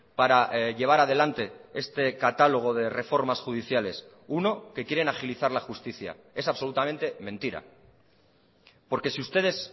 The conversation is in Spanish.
para llevar adelante este catálogo de reformas judiciales uno que quieren agilizar la justicia es absolutamente mentira porque si ustedes